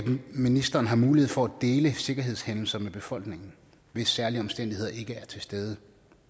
ministeren har mulighed for at dele sikkerhedshændelser med befolkningen hvis særlige omstændigheder ikke er til stede